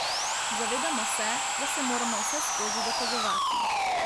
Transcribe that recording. Zavedamo se, da se moramo vseskozi dokazovati.